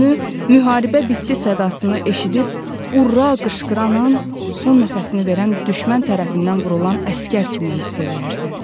Özünü müharibə bitdi sadasını eşidib urra qışqıran an son nəfəsini verən düşmən tərəfindən vurulan əsgər kimi hiss eləyərsən.